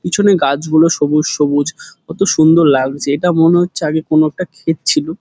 পিছনে গাছগুলো সবুজ সবুজ কত সুন্দর লাগছে এটা মনে হচ্ছে আগে কোনো একটা ক্ষেত ছিল।